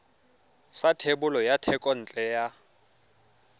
sa thebolo ya thekontle ya